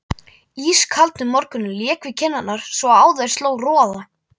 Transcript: Ískaldur morgunninn lék við kinnarnar svo á þær sló roða.